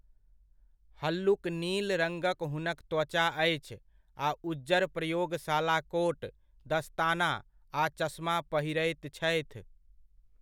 हल्लुक नील रङगक हुनक त्वचा अछि आ उज्जर प्रयोगशाला कोट, दस्ताना, आ चश्मा पहिरैत छथि।